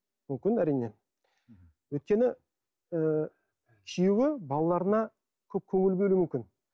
мүмкін әрине өйткені ы күйеуі балаларына көп көңіл бөлуі мүмкін